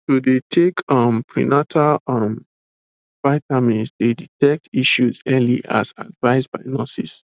to dey take um prenatal um vitamins dey detect issues early as advised by nurses